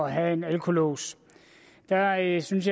at have en alkolås jeg synes